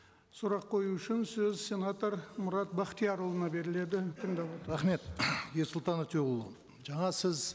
сұрақ қою үшін сөз сенатор мұрат бақтиярұлына беріледі тыңдап рахмет ерсұлтан өтеуұлы жаңа сіз